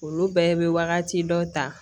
Olu bɛɛ bɛ wagati dɔ ta